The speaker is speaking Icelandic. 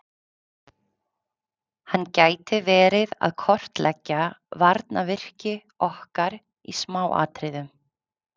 Hann gæti verið að kortleggja varnarvirki okkar í smáatriðum.